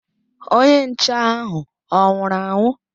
Onye nche ahụ ọ nwụrụ anwụ?